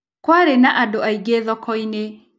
Kwarĩ na andũ aingĩ thoko-inĩ.